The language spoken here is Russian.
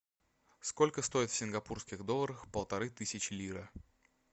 сколько стоит в сингапурских долларах полторы тысячи лира